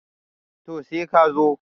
to sai ka zo